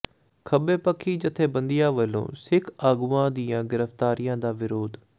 ਖੱਬੇਪੱਖੀ ਜਥੇਬੰਦੀਆਂ ਵੱਲੋਂ ਸਿੱਖ ਆਗੂਆਂ ਦੀਆਂ ਗ਼ਿ੍ਫ਼ਤਾਰੀਆਂ ਦਾ ਵਿਰੋਧ